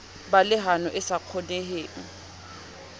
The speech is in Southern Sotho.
ba lehano e sa kgoneheng